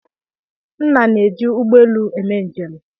Nna na-eji ụgbọelu eme njem.